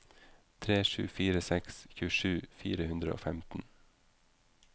tre sju fire seks tjuesju fire hundre og femten